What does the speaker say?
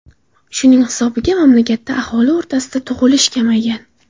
Shuning hisobiga mamlakatda aholi o‘rtasida tug‘ilish kamaygan.